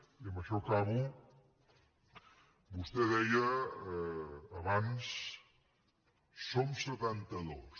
i amb això acabo vostè deia abans som setantados